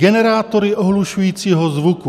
Generátory ohlušujícího zvuku.